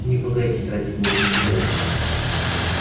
не пугайтесь ради бога не пугайтесь